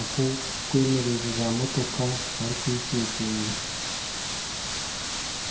ak'okwemereza motoka barikugishwijuma.